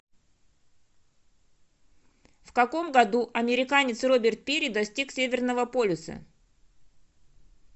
в каком году американец роберт пири достиг северного полюса